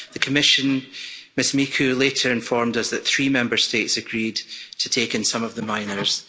The Commission later informed us that three Member States agreed to take in some of the minors.